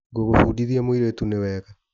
Ngũbũdithia mũirĩtu ni wega